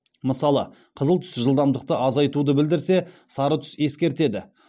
мысалы қызыл түс жылдамдықты азайтуды білдірсе сары түс ескертеді